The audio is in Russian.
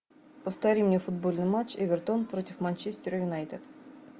повтори мне футбольный матч эвертон против манчестер юнайтед